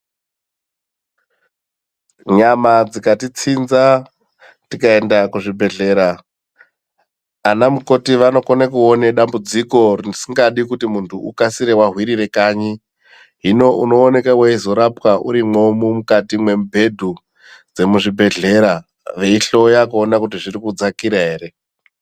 Nyama dzikatitsinza, tikaenda kuzvibhedhlera, ana mukoti vanokone kuone dambudziko risikadi kuti muntu ukasire wahwirire kanyi. Hino inooneka weizorapwa urimwo mukati mwemubhedhu dzemuzvibhedhleya, veihloya kuona kuti zviri kudzakira ere.